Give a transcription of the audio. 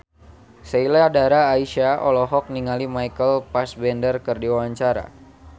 Sheila Dara Aisha olohok ningali Michael Fassbender keur diwawancara